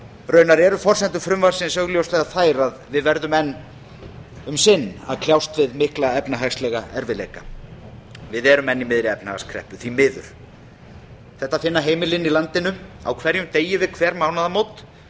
raunar eru forsendur frumvarpsins augljóslega þær að við verðum enn um sinn að kljást við mikla efnahagslega erfiðleika við erum enn í miðri efnahagskreppu því miður þetta finna heimilin í landinu á hverjum degi við hver mánaðamót